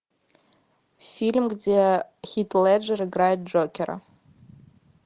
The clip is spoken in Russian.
фильм где хит леджер играет джокера